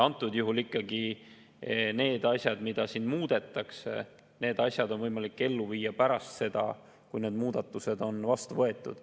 Antud juhul ikkagi need asjad, mida siin muudetakse, on võimalik ellu viia pärast seda, kui need muudatused on vastu võetud.